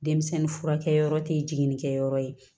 Denmisɛnnin furakɛyɔrɔ tɛ ye jiginni kɛyɔrɔ ye